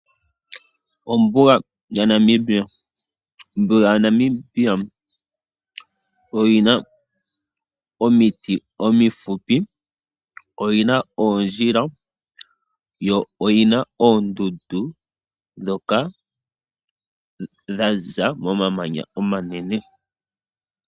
Ombuga yaNamibia. Ombuga yaNamibia oyina omiti omifupi, oyina oondjila yo oyina oondundu ndhoka dhaza momamanya omanene.